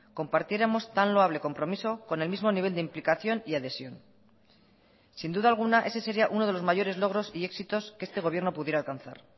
compartiéramos tan loable compromiso con el mismo nivel de implicación y adhesión sin duda alguna ese sería uno de los mayores logros y éxitos que este gobierno pudiera alcanzar